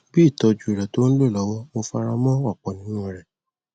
bí ìtọjú rẹ tó ń lọ lọwọ mo fara mọ ọpọ nínú u rẹ